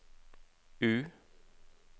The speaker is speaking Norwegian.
U